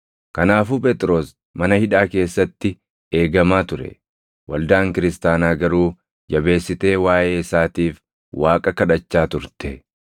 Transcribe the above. Kanaafuu Phexros mana hidhaa keessatti eegamaa ture; waldaan kiristaanaa garuu jabeessitee waaʼee isaatiif Waaqa kadhachaa turte.